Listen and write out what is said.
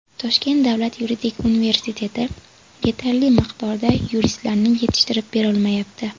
Toshkent davlat yuridik universiteti yetarli miqdorda yuristlarni yetishtirib berolmayapti.